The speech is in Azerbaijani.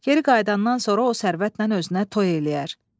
Geri qayıdandan sonra o sərvətlə özünə toy eləyər.